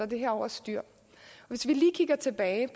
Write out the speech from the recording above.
det her over styr hvis vi lige kigger tilbage